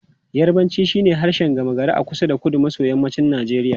Yarbanci shine harshen gama gari a kusa da kudu maso yammacin Najeriya.